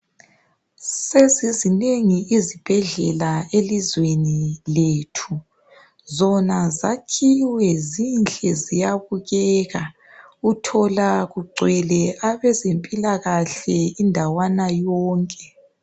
Sezizinengi izibhedlela elizweni lethu, zona zakhiwe zinhle ziyabukeka, uthola kugcwele abezempilakahle indawana yonke.